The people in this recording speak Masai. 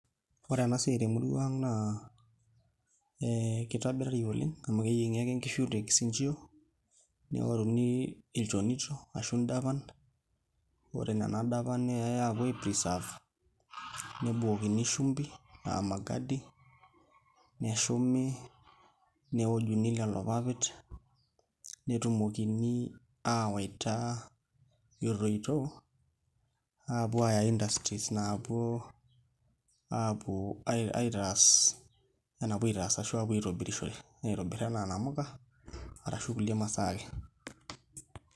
Ore ena siai temurua ang' naa ee kitobirari oleng' amu keyieng'i ake nkishu tekisinchio neoruni ilchonito ashu ndapan ore nena dapan neyai aapuo ai preserve nebukokini shumbi ashu magadi neshumi neojuni lelo papit netumoki aawaita etoito aapuo aaya industries naapuo aapuo aitaas enapuo aitaas ashu aapuo aitobirishore aitobirr enaa inamuka arashu kulie masaa ake.